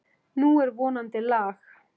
Nú er vonandi lag.